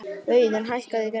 Auðun, hækkaðu í græjunum.